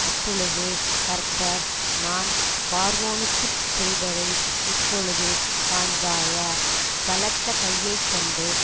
அப்பொழுது கர்த்தர் நான் பார்வோனுக்குச் செய்வதை இப்பொழுது காண்பாய பலத்த கையை கண்டு